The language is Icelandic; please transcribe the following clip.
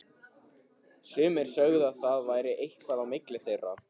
Sumir sögðu að það væri eitthvað á milli þeirra.